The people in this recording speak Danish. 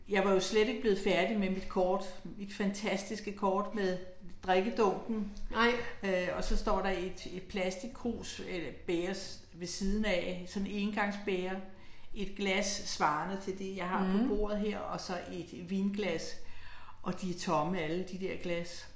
Jeg var jo slet ikke blevet færdig med mit kort, mit fantastiske kort med drikkedunken øh og så står der et et plastikkrus eller bæger ved siden af, sådan engangsbæger, et glas svarende til det jeg har på bordet her, og så et vinglas, og de er tomme alle de der glas